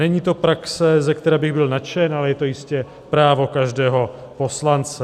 Není to praxe, ze které bych byl nadšen, ale je to jistě právo každého poslance.